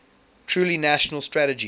truly national strategy